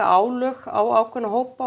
álögur á ákveðna hópa